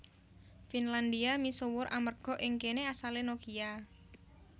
Finlandia misuwur amerga ing kéné asalé Nokia